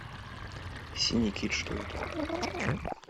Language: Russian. синий кит что это